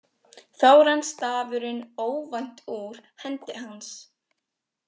Þá rann stafurinn óvænt úr hendi hans.